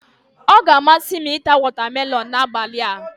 Ọ ga-amasị m ita wọtamelọn n'abalị a.